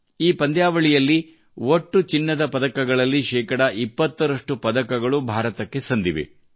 ಈ ಪಂದ್ಯಾವಳಿಯಲ್ಲಿ ಒಟ್ಟು ಚಿನ್ನದ ಪದಕಗಳಲ್ಲಿ ಶೇಕಡಾ 20 ರಷ್ಟು ಪದಕಗಳು ಭಾರತಕ್ಕೆ ಸಂದಿವೆ